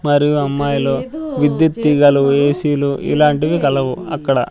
మరియు అమ్మాయిలు విద్యుత్ తీగలు ఏ_సీ లు ఇలాంటివి కలవు అక్కడ.